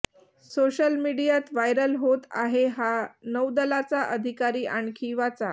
social मीडियात viral होत आहे हा नौदलाचा अधिकारी आणखी वाचा